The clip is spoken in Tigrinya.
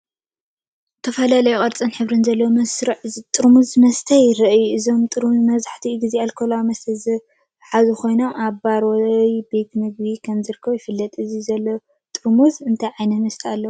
ዝተፈላለየ ቅርጽን ሕብርን ዘለዎም መስርዕ ጥርሙዝ መስተ የርኢ። እዞም ጥርሙዝ መብዛሕትኡ ግዜ ኣልኮላዊ መስተ ዝሓዙ ኮይኖም ኣብ ባራት ወይ ቤት መግቢ ከም ዝርከቡ ይፍለጥ። እቲ ዘሎ ጥርሙዝ እንታይ ዓይነት መስተ ኣለዎ?